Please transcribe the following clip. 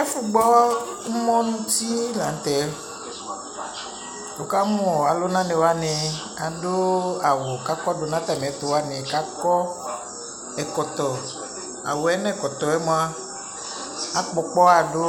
Ɛfugbɔ umɔɔ nutie lanutɛ wukamu alunaniwani adu awu kakɔdu natamiɛtuwani kakɔɛkɔtɔ awuɛ nɛkɔtɔɛ mua akpɔkpaɣadu